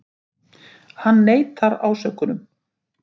Hann neitar ásökunum